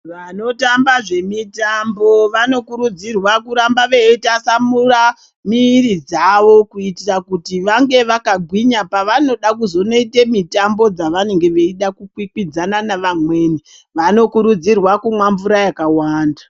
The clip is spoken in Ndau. Vanotamba zvemitambo vanokurudzirwa kuramba veitatamura miri dzavo kuitira kuti vange vakagwinya pavanoda kuzonoite mitambo dzavanenge veida kukwikwidzana nevamweni, vanokuridzirwa kumwa mvura yakawanda.